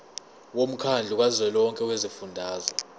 womkhandlu kazwelonke wezifundazwe